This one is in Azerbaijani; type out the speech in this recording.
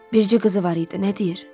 Bircə qızı var idi, nə deyir?